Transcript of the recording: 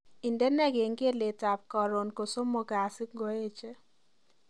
Indene kengeletab karon kosomok Kasi ngoeche